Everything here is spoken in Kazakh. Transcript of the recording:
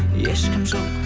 ешкім жоқ